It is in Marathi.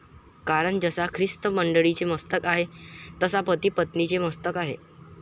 कारण जसा ख्रिस्त मंडळीचे मस्तक आहे तसा पति पत्नीचे मस्तक आहे.